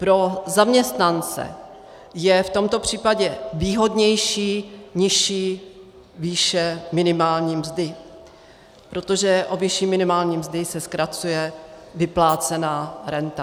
Pro zaměstnance je v tomto případě výhodnější nižší výše minimální mzdy, protože o výši minimální mzdy se zkracuje vyplácená renta.